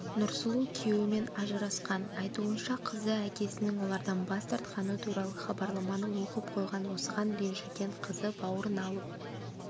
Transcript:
нұрсұлу күйеуімен ажырасқан айтуынша қызы әкесінің олардан бас тартқаны туралы хабарламаны оқып қойған осыған ренжіген қызы бауырын алып үйден кетіп қалған